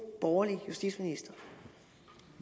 borgerlig justitsminister